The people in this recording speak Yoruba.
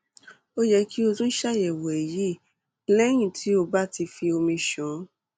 ó yẹ kí o tún ṣàyẹwò èyí lẹyìn tó o bá ti fi omi ṣàn